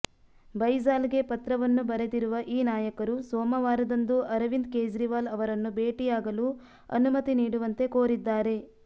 ಬೈಜಾಲ್ಗೆ ಪತ್ರವನ್ನು ಬರೆದಿರುವ ಈ ನಾಯಕರು ಸೋಮವಾರದಂದು ಅರವಿಂದ್ ಕೇಜ್ರಿವಾಲ್ ಅವರನ್ನು ಭೇಟಿಯಾಗಲು ಅನುಮತಿ ನೀಡುವಂತೆ ಕೋರಿದ್ದಾರೆ